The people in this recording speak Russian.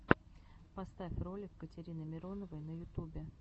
поставь ролик катерины мироновой на ютубе